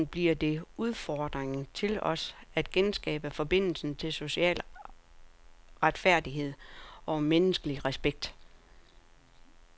Som enkeltpersoner bliver det udfordringen til os at genskabe forbindelsen til social retfærdighed og menneskelig respekt.